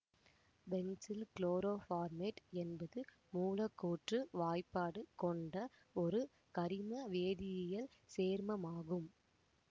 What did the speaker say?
pencil chloroformate என்பது மூலக்கூற்று வாய்ப்பாடு கொண்ட ஒரு கரிம வேதியியல் சேர்மமாகும்